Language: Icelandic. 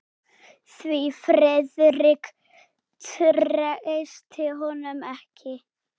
Því Friðrik treysti honum ekki.